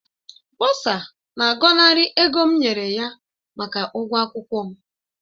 Bọsa na-agọnarị ego m nyere ya maka ụgwọ akwụkwọ m